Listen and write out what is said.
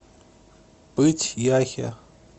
пыть яхе